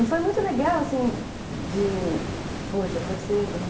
E foi muito legal, assim, de... Hoje eu percebo, né?